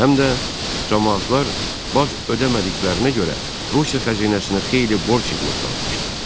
Həm də camaatlar bac ödəmədiklərinə görə Rusiya xəzinəsinə xeyli borc yığılıb qalmışdı.